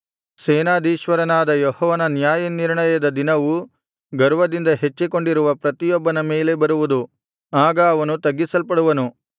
ಸೇನಾಧೀಶ್ವರನಾದ ಯೆಹೋವನ ನ್ಯಾಯನಿರ್ಣಯದ ದಿನವು ಗರ್ವದಿಂದ ಹೆಚ್ಚಿಕೊಂಡಿರುವ ಪ್ರತಿಯೊಬ್ಬನ ಮೇಲೆ ಬರುವುದು ಆಗ ಅವನು ತಗ್ಗಿಸಲ್ಪಡುವನು